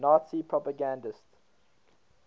nazi propagandists